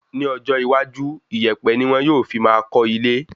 Ní ọjọ́ iwájú, ìyèpẹ̀ ní wọn yóò sì fi máa kọ́ ilé